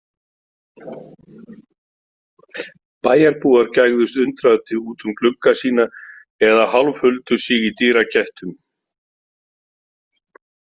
Bæjarbúar gægðust undrandi út um glugga sína eða hálfhuldu sig í dyragættum.